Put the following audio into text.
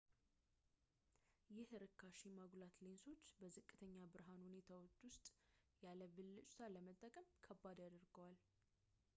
ይህ ርካሽ የማጉላት ሌንሶችን በዝቅተኛ ብርሃን ሁኔታዎች ውስጥ ያለ ብልጭታ ለመጠቀም ከባድ ያደርገዋል